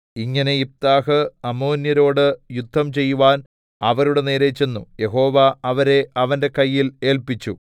ഇങ്ങനെ യിഫ്താഹ് അമ്മോന്യരോട് യുദ്ധം ചെയ്‌വാൻ അവരുടെ നേരെ ചെന്നു യഹോവ അവരെ അവന്റെ കയ്യിൽ ഏല്പിച്ചു